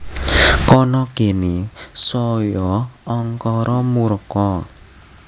Kana kene saya angkara murka